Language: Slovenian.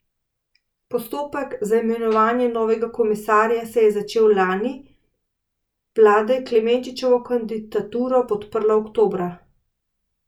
Postopek za imenovanje novega komisarja se je začel lani poleti, vlada je Klemenčičevo kandidaturo podprla oktobra.